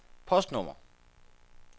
postnummer